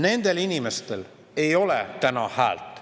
Nendel inimestel ei ole täna häält.